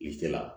I se la